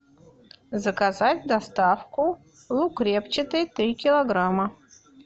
заказать доставку лук репчатый три килограмма